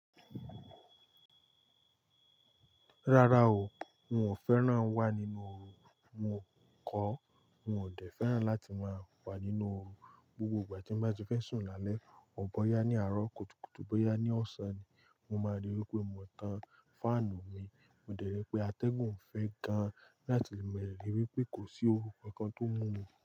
Rárá o, n o féràn wà nínú oru. Mo kò, mo dẹ̀ fẹ́ràn láti ma wà nínú oru. Gbogbo ìgbà tí mo bá ti fẹ́ sùn lálẹ́, ò bóyá ní àárọ̀ kùtùkùtù bóyá ní ọ̀sán ni, mo máa ríi wí pé mo tan fáànù mi. Mo dẹ̀ ríi pé atẹ́gùn fẹ́ gan láti le mọ ìrírí pé kò sí oru kankan tó ń mú mi.